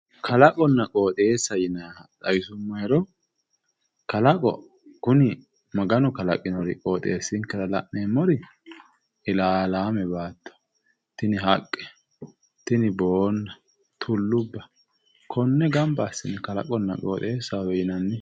kalaqonna qooxeessa yinanniha xawisummohero kalaqo kuni maganu kalaqinori qoxeessinkera la'neemmori ilaalaame baatto tini haqqe tini boonna tullubba konne gamba assine kalaqonna qooxeessahowe yinanni.